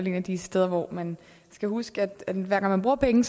et af de steder hvor man skal huske at hver gang man bruger penge